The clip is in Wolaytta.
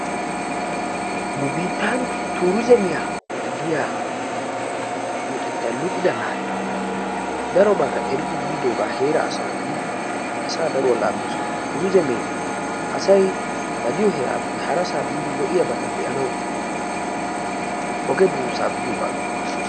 Nu biittan tuuriizemiya giya luxetta luxida naati darobaa eridoogaa heera asawu odidi asaa daruwa laammiisona. Tuuriizemee asay ba diyo heeraappe harasaa biidi lo'iyabata be'anawu oge buussaa biyogaa giyogaa.